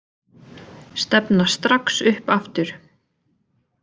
Stefna strax upp aftur